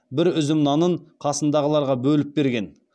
бір үзім нанын қасындағыларға бөліп берген